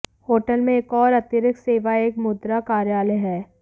hotel में एक और अतिरिक्त सेवा एक मुद्रा कार्यालय है